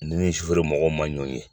N'i ni sufɛri mɔgɔw man ɲɔgɔn ye.